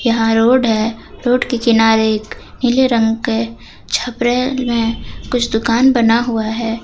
यहां रोड है रोड के किनारे एक नीले रंग के छपरैल में कुछ दुकान बना हुआ है।